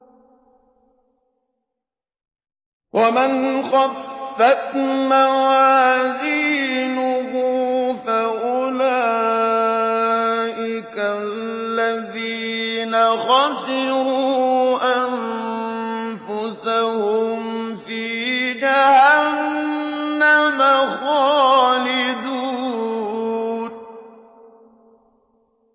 وَمَنْ خَفَّتْ مَوَازِينُهُ فَأُولَٰئِكَ الَّذِينَ خَسِرُوا أَنفُسَهُمْ فِي جَهَنَّمَ خَالِدُونَ